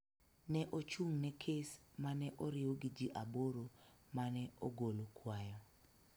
ne ochung� ne kes ma ne oriw gi ji aboro ma ne ogolo kwayo